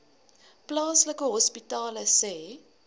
plaaslike hospitale sê